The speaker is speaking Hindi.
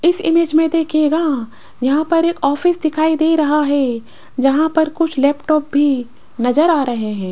इस इमेज में देखिएगा यहां पर एक ऑफिस दिखाई दे रहा हैं जहां पर कुछ लैपटॉप भी नजर आ रहें हैं।